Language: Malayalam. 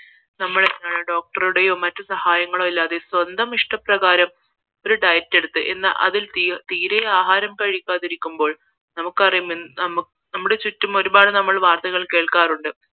നമ്മൾ doctor രുടെയോ മറ്റു സഹായങ്ങളോ ഇല്ലാതെ സ്വന്തം ഇഷ്ട പ്രകാരം ഒരു diet എടുത്ത് എന്നാൽ അതിൽ തീരെ ആഹാരം കഴിക്കാതിരിക്കുമ്പോൾ നമുക്കറിയാം നമ്മുടെ ചുറ്റും നമ്മൾ വാർത്തകൾ കേൾക്കാറുണ്ട്